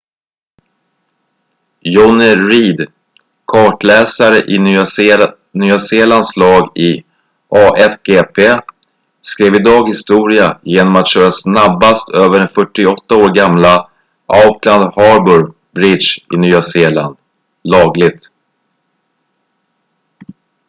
jonny reid kartläsare i nya zeelands lag i a1gp skrev idag historia genom att köra snabbast över den 48 år gamla auckland harbour bridge i nya zeeland lagligt